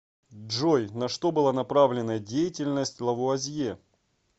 джой на что была направленна деятельность лавуазье